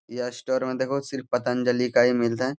यह स्टोर में देखोह सिर्फ पतंजलि का ही मिलता है।